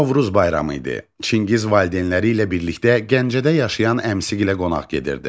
Novruz bayramı idi, Çingiz valideynləri ilə birlikdə Gəncədə yaşayan əmsi ilə qonaq gedirdi.